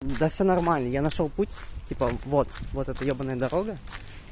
да все нормально я нашёл путь типа вот вот это ебаная дорога